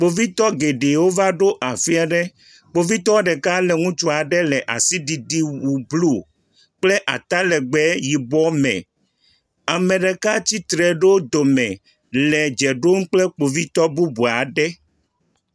Kpovitɔwo geɖewo va ɖo afi aɖe. Kpovitɔwo geɖewo kple ŋutsua ɖe le atiɖiɖi wu blu kple ata legbe yibɔ me. Ame ɖeka tsitre ɖe wò dome le dze ɖom kple kpovitɔwo bubu aɖe.